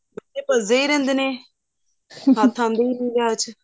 ਬੱਚੇ ਭੱਜਦੇ ਹੀ ਰਹਿੰਦੇ ਏ ਹੱਥ ਆਉਂਦੇ ਹੀ ਨਹੀ ਵਿਆਹ ਚ